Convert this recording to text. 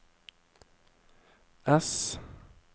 S